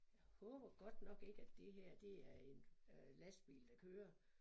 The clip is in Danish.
Jeg håber godt nok ikke at det her det er en øh lastbil der kører